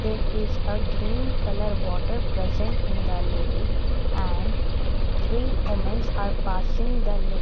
there is a green colour water present in the lake and three womens are passing the lake.